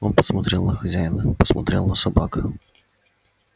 он посмотрел на хозяина посмотрел на собак